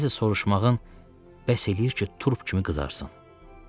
Nəsə soruşmağın bəs eləyir ki, turp kimi qızarsan.